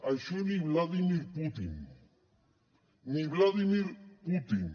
això ni vladímir putin ni vladímir putin